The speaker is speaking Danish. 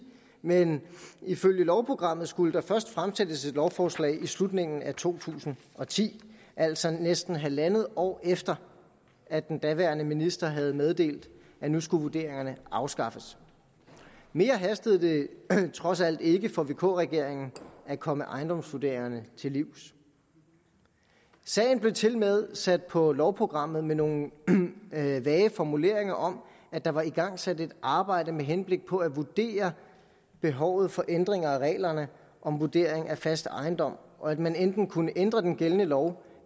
men ifølge lovprogrammet skulle der først fremsættes lovforslag i slutningen af to tusind og ti altså næsten halvandet år efter at den daværende minister havde meddelt at nu skulle vurderingerne afskaffes mere hastede det trods alt ikke for vk regeringen at komme ejendomsvurderingerne til livs sagen blev tilmed sat på lovprogrammet med nogle vage formuleringer om at der var igangsat et arbejde med henblik på at vurdere behovet for ændring af reglerne om vurdering af fast ejendom og at man enten kunne ændre den gældende lov